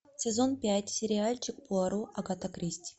сезон пять сериальчик пуаро агаты кристи